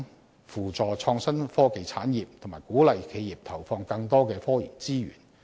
為了更有效地扶助創新科技產業及鼓勵企業投放更多科研資源。